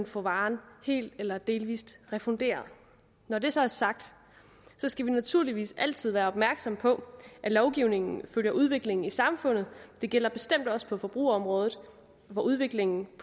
få varen helt eller delvis refunderet når det så er sagt skal vi naturligvis altid være opmærksomme på at lovgivningen følger udviklingen i samfundet og det gælder bestemt også på forbrugerområdet hvor udviklingen i